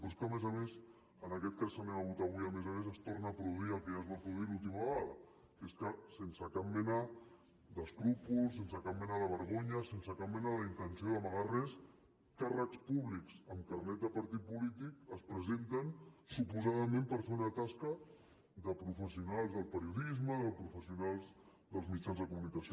però és que a més a més en aquest cas que votarem avui a més a més es torna a produir el que ja es va produir l’última vegada que és que sense cap mena d’escrúpol sense cap mena de vergonya sense cap mena d’intenció d’amagar res càrrecs públics amb carnet de partit polític es presenten suposadament per fer una tasca de professionals del periodisme de professionals dels mitjans de comunicació